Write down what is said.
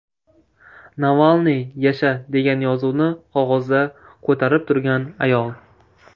Navalniy, yasha!”, degan yozuvni qog‘ozda ko‘tarib turgan ayol.